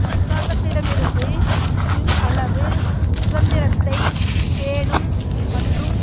அரசாங்கத்திடமிருந்து சிறு அளவு சுதந்திரத்தை பேணும் மற்றும்